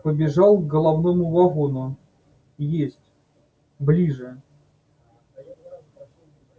побежал к головному вагону есть ближе